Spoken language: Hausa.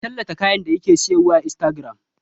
Ki tallata kayan da kike sayarwa a Instagram!